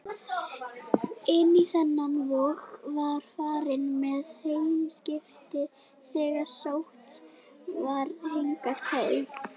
Inn í þennan vog var farið með heyskipið þegar sótt var hingað hey.